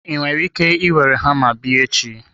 Ị nwere ike were hama bịa echi?